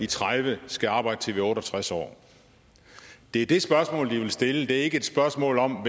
tredive skal arbejde til vi er otte og tres år det er det spørgsmål de vil stille ikke spørgsmålet om